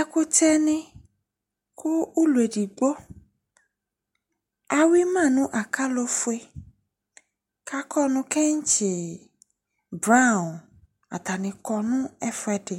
ɛkuteni kuuloedigbo ahuma nu ɑkalofue kɑ kɔnuketsi blaon ɑtaniko nefuedi